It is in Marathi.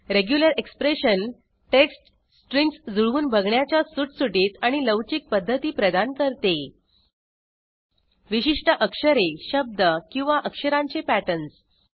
रेग्युलर एक्सप्रेशन टेक्स्ट स्ट्रिंग्ज जुळवून बघण्याच्या सुटसुटीत आणि लवचिक पध्दती प्रदान करते विशिष्ट अक्षरे शब्द किंवा अक्षरांचे पॅटर्न्स